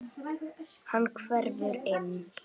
Hann hverfur inn.